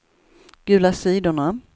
gula sidorna